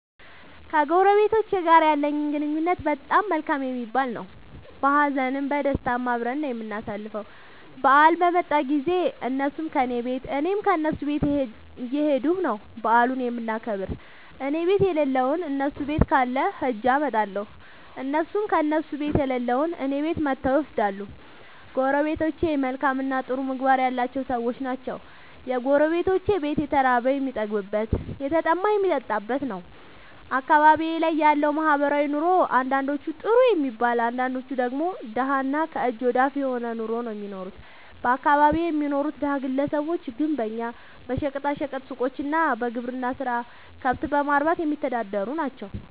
ከጎረቤቶቸ ጋር ያለኝ ግንኙነት በጣም መልካም የሚባል ነዉ። በሀዘንም በደስታም አብረን ነዉ የምናሣልፈዉ በአል በመጣ ጊዜም እነሡም ከኔ ቤት እኔም ከነሡ ቤት እየኸድኩ ነዉ በዓሉን የምናከብር እኔቤት የለለዉን እነሡ ቤት ካለ ኸጀ አመጣለሁ። እነሡም ከእነሡ ቤት የሌለዉን እኔ ቤት መጥተዉ ይወስዳሉ። ጎረቤቶቸ መልካምእና ጥሩ ምግባር ያላቸዉ ሠዎች ናቸዉ። የጎረቤቶቼ ቤት የተራበ የሚጠግብበት የተጠማ የሚጠጣበት ነዉ። አካባቢዬ ላይ ያለዉ ማህበራዊ ኑሮ አንዳንዶቹ ጥሩ የሚባል አንዳንዶቹ ደግሞ ደሀ እና ከእጅ ወደ አፍ የሆነ ኑሮ ነዉ እሚኖሩት በአካባቢየ የሚኖሩት ደሀ ግለሰቦች ግንበኛ በሸቀጣ ሸቀጥ ሡቆች እና በግብርና ስራ ከብት በማርባትየሚተዳደሩ ናቸዉ።